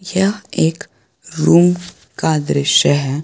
यह एक रूम का दृश्य है।